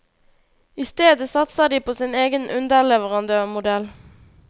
Istedet satser de på sin egen underleverandørmodell.